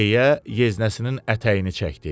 deyə yeznəsinin ətəyini çəkdi.